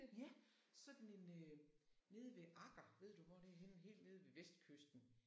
Ja sådan en øh nede ved Agger ved du hvor det er henne? Helt nede ved vestkysten